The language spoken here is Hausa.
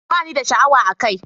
Ba ni da sha'awa a kai